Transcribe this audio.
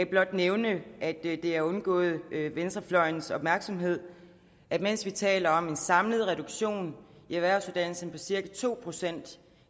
blot nævne at det er undgået venstrefløjens opmærksomhed at mens vi taler om en samlet reduktion i erhvervsuddannelserne på cirka to procent